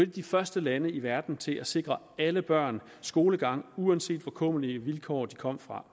de første lande i verden til at sikre alle børn skolegang uanset hvor kummerlige vilkår de kom fra